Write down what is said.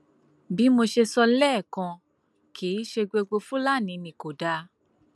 bí mo ṣe sọ lẹẹkan kì í ṣe gbogbo fúlàní ni kò dáa